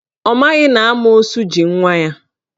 Ọ maghị na amoosu ji nwa ya.